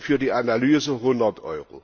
Kosten für die Analyse 100